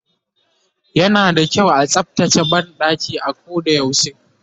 yana da kyau a tsaftace banɗaki a ko da yaushe